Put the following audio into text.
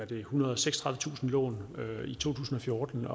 det ethundrede og seksogtredivetusind lån i to tusind og fjorten